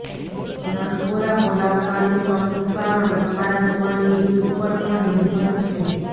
નસકોરાં બોલાવવાનું પ્રમુખ કારણ તમારા સૂવાની રીત ઉપર પણ નિર્ભર છે